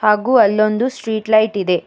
ಹಾಗು ಅಲ್ಲೊಂದು street light ಇದೆ.